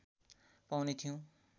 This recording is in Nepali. पाउने थियौं